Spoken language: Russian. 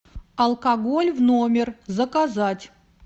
алкоголь в номер заказать